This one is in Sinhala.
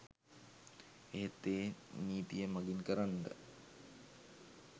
එහෙත් එය නීතිය මඟින් කරන්නට